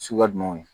Suguya jumɛnw ye